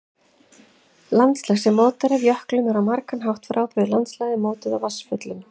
Landslag sem mótað er af jöklum er á margan hátt frábrugðið landslagi mótuðu af vatnsföllum.